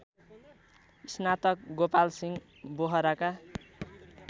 स्नातक गोपालसिंह बोहराका